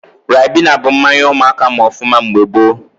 Ribena bụ mmanya ụmụaka ma ọfụma mgbe gboo